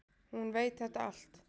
Hún veit þetta allt.